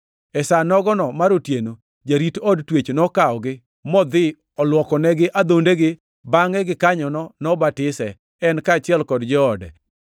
E sa nogono mar otieno, jarit od twech nokawogi modhi olwokonegi adhondegi, bangʼe gikanyono nobatise, en kaachiel gi joode duto.